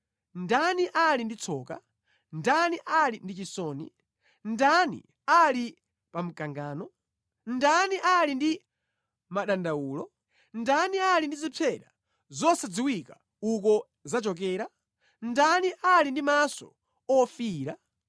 Ndani ali ndi tsoka? Ndani ali ndi chisoni? Ndani ali pa mkangano? Ndani ali ndi madandawulo? Ndani ali ndi zipsera zosadziwika uko zachokera? Ndani ali ndi maso ofiira?